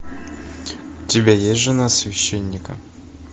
у тебя есть жена священника